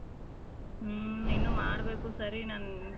ಹ್ಮ್ ಇನ್ನು ಮಾಡ್ಬೇಕು ಸರಿ ನನ್ನ .